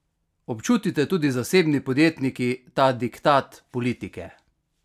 Občutite tudi zasebni podjetniki ta diktat politike?